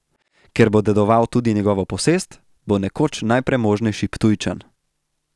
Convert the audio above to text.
Ker bo dedoval tudi njegovo posest, bo nekoč najpremožnejši Ptujčan.